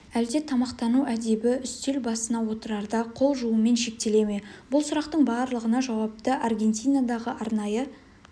әлде тамақтану әдебі үстел басына отырарда қол жуумен шектеле ме бұл сұрақтың барлығына жауапты аргентинадағы арнайы